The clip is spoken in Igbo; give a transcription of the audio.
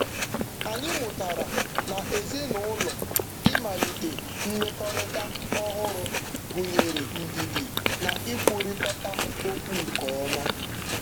Anyị mụtara na ezinụụlọ ịmalite mmekọrịta ọhụrụ gụnyere ndidi na ikwukọrịta okwu nke ọma.